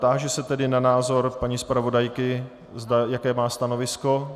Táži se tedy na názor paní zpravodajky, jaké má stanovisko.